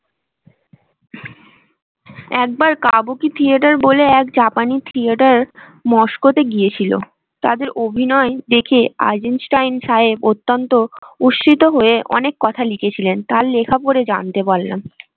একবার kabuki theatre বলে এক জাপানি থিয়েটার মস্কতে গিয়েছিল। তাদের অভিনয় দেখে সাহেব অত্যন্ত উশ্রিত হয়ে অনেক কথা লিখেছিলেন। তার লেখা পরে জানতে পারলাম।